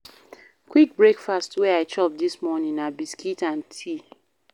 Quick breakfast wey I chop dis morning na biscuit and tea.